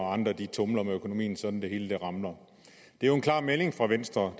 og andre tumler med økonomien sådan at det hele ramler det er jo en klar melding fra venstre